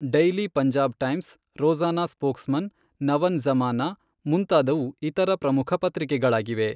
Daily Punjab times, Rozana spokesman, Nawan Zamana, ಮುಂತಾದವು ಇತರ ಪ್ರಮುಖ ಪತ್ರಿಕೆಗಳಾಗಿವೆ.